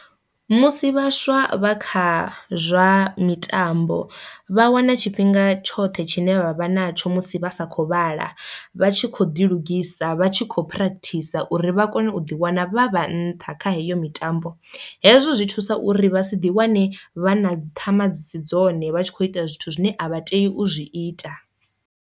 Musi vhaswa vha kha zwa mitambo vha wana tshifhinga tshoṱhe tshine vha vha na tsho musi vha sa kho vhala vha tshi kho ḓi lugisa vha tshi kho practice uri vha kone u ḓiwana vha vha nṱha kha heyo mitambo, hezwo zwi thusa uri vha si ḓi wane vha na ṱhama dzi si dzone vha tshi kho ita zwithu zwine a vha tei u zwi ita.